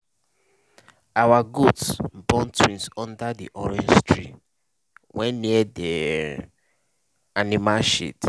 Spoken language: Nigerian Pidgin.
our goat born twins under di orange tree wey near the um animal shed.